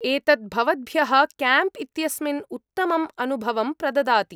एतत् भवद्भ्यः कैम्प् इत्यस्मिन् उत्तमम् अनुभवं प्रददाति।